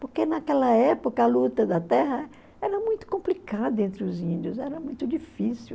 porque naquela época a luta da terra era muito complicada entre os índios, era muito difícil.